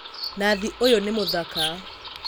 Nathi ũyũ nĩ mũthaka